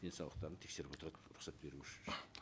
денсаулықтарын тескеріп отырады рұқсат беруші